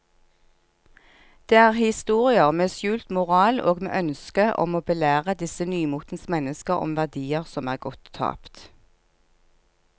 Det er historier med skjult moral og med ønske om å belære disse nymotens mennesker om verdier som er gått tapt.